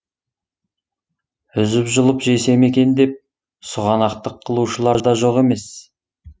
үзіп жұлып жесем екен деп сұғанақтық қылушылар да жоқ емес